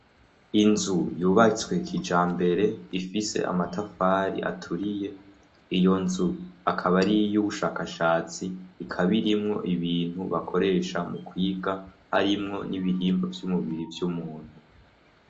Inzu yubatswe kijambere, ifise amatafari aturiye, iyo nzu akaba ariy'ubushakashatsi, ikaba irimwo ibintu bakoresha mu kwiga harimwo n'ibihimba vy'umubiri vy'umuntu.